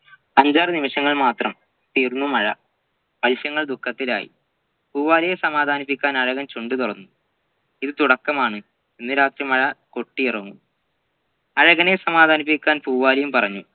അഞ്ചാറു നിമിഷങ്ങൾ മാത്രം തീർന്നു മഴ മത്സ്യങ്ങൾ ദുഃഖത്തിലായി പൂവാലിയെ സമാധാനിപ്പിക്കാൻ അഴകൻ ചുണ്ടു തുറന്നു ഇത് തുടക്കമാണ് ഇന്ന് രാത്രി മഴ കൊട്ടിയിറങ്ങും അഴകനേ സമാധാനിപ്പിക്കാൻ പൂവാലിയും പറഞ്ഞു